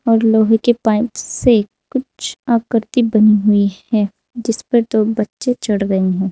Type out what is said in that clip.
लोहे के पाइप से कुछ आकृति बनी हुई है। जिसपर दो बच्चे चढ़ गए।